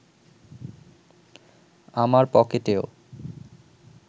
আমার পকেটেও